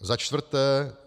Za čtvrté.